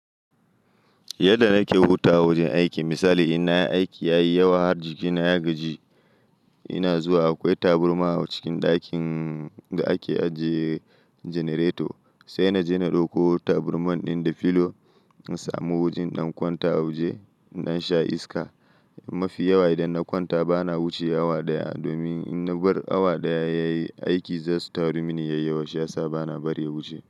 Yadda nake hutawa a wajen aiki misali in nayi aiki yayi yawa jikina ya gaji, ina zuwa akwai tabarma a cikin ɗakin da ake ajiye janareto sai na je na ɗauko tabarman ɗin da filo na samu a wajen in ɗan kwanta a waje in ɗan sha iska. Mafi yawa idan na kwanta bana wuce awa ɗaya domin in na bar awa ɗaya yayi aiki zasu taru mini yayiyawa shiyasa bana bari ya wuce.